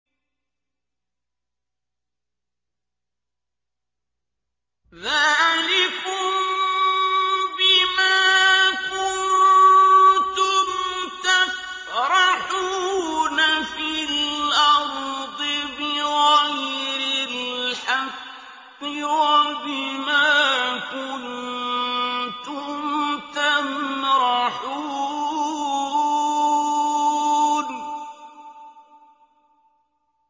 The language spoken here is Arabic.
ذَٰلِكُم بِمَا كُنتُمْ تَفْرَحُونَ فِي الْأَرْضِ بِغَيْرِ الْحَقِّ وَبِمَا كُنتُمْ تَمْرَحُونَ